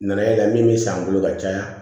Nana ye min bɛ san n bolo ka caya